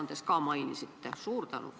Neid te mainisite oma ettekandes ka.